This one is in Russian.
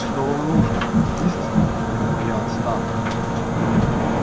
что вам нужно истина или моя отставка